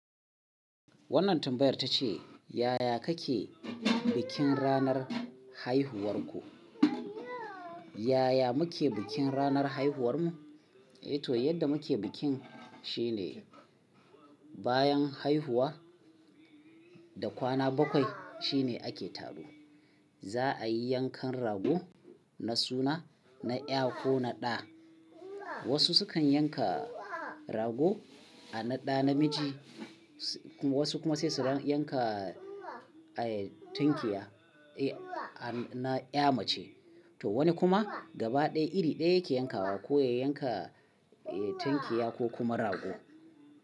Wannan tambayar ta ce, yaya kake bikin ranar haihuwarku? Yaya muke bikin ranar haihuwarmu? Eh to, yadda muke bikin shine bayan haihuwa da kwana bakwai shine ake taro. Za'a yi yankan rago na suna na ƴa ko na ɗa. Wasu sukan yanka rago a na ɗa namiji, wasu kuma sai su yanka tunkiya a na ƴa mace. To wani kuma gaba ɗaya iri ɗaya yake yankawa ko ya yanka tunkiya ko kuma rago.